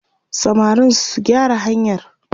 samarin su gyara hanyar!